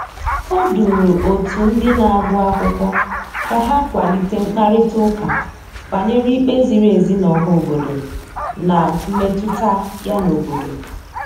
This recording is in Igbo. O duru otu ndị na-agụ akwụkwọ ka ha kwalite mkparịtaụka banyere ikpe ziri ezi n' ọha obodo na mmetụta ya n'obodo.